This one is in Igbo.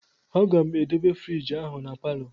Aga m edobe frigi ahụ na palọ